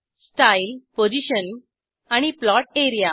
style position आणि plot A R E A